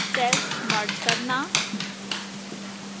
cells merge करना